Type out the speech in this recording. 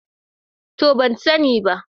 To, ban sani ba.